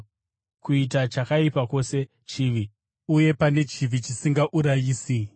Kuita chakaipa kwose chivi, uye pane chivi chisingaurayisi.